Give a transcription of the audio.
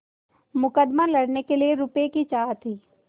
मुकदमा लड़ने के लिए रुपये की चाह थी